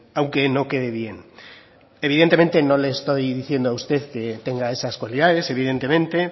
aunque no quede bien evidentemente no le estoy diciendo a usted que tenga esas cualidades evidentemente